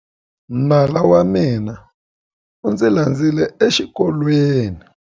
Nala wa mina u ndzi landzile exikolweni.